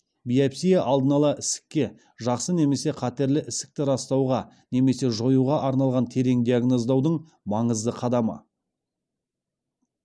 биопсия алдын ала ісікке жақсы немесе қатерлі ісікті растауға немесе жоюға арналған терең диагноздаудың маңызды қадамы